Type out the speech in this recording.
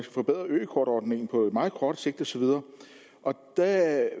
forbedre ø kort ordningen på meget kort sigt og så videre og der